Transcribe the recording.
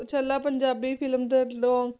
ਛੱਲਾ Punjabi film ਦਾ ਲੋਂ~